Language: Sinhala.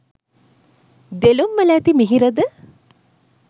දෙළුම්වල ඇති මිහිරද